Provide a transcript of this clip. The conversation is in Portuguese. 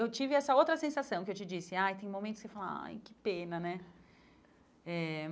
Eu tive essa outra sensação, que eu te disse, ai, tem momentos que você fala, ai, que pena, né? Eh